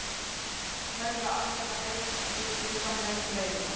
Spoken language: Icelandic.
Telja almenna leiðréttingu skynsamlegustu leiðina